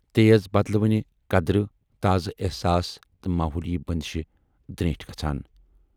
تیز بدلوٕنہِ قدرٕ، تازٕ ایحساس تہٕ ماحولی بٔندشہِ دریٖنٹھۍ گژھان۔